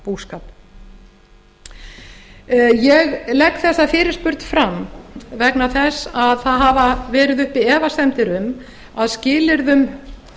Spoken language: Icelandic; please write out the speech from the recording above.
næringarbúskap ég legg þessa fyrirspurn fram vegna þess að það hafa verið uppi efasemdir um að skilyrðum